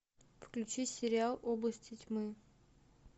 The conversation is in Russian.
включи сериал области тьмы